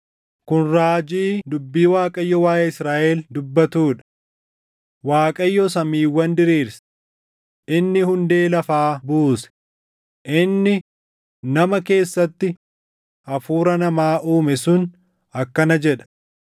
Kun raajii dubbii Waaqayyo waaʼee Israaʼel dubbatuu dha. Waaqayyo samiiwwan diriirse, inni hundee lafaa buuse, inni nama keessatti hafuura namaa uume sun akkana jedha: